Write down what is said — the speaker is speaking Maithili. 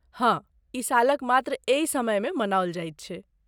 हँ, ई सालक मात्र एहि समयमे मनाओल जाइत छै।